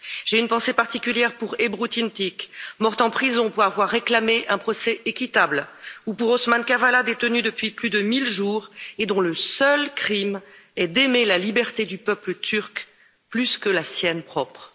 J'ai une pensée particulière pour Ebru Timtik, morte en prison pour avoir réclamé un procès équitable, ou pour Osman Kavala, détenu depuis plus de 1000 jours et dont le seul crime est d'aimer la liberté du peuple turc plus que la sienne propre.